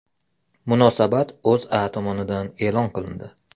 Munosabat O‘zA tomonidan e’lon qilindi .